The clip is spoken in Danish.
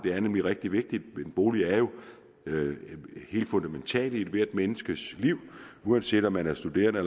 er nemlig rigtig vigtigt en bolig er jo noget helt fundamentalt i ethvert menneskes liv uanset om man er studerende